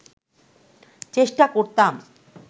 চেষ্টা করতাম